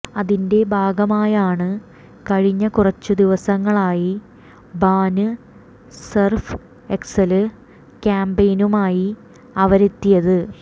അതിന്റെ ഭാഗമായാണ് കഴിഞ്ഞ കുറച്ചു ദിവസങ്ങളായി ബാന് സര്ഫ് എക്സല് ക്യാംപയിനുമായി അവരെത്തിയത്